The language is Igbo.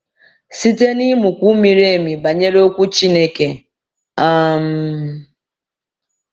Site n’ịmụkwu miri emi banyere Okwu Chineke. um